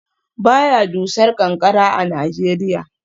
Ba ya dusar ƙanƙara a Najeriya